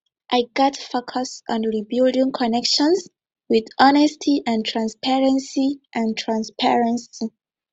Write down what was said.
i gats focus on rebuilding connections with honesty and transparency and transparency